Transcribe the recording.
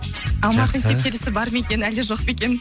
алматының кептелісі бар ма екен әлде жоқ па екен